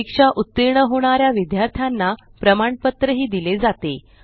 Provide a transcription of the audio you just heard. परीक्षा उत्तीर्ण होणाऱ्या विद्यार्थ्यांना प्रमाणपत्र दिले जाते